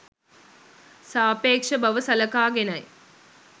සාපේක්ෂ බව සලකාගෙනයි.